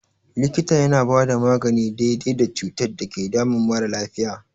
Likita yana bada magani daidai da cutar da ke damun mara lafiya.